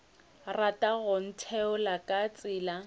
rata go ntheola ka tsela